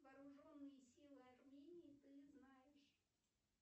вооруженные силы армении ты знаешь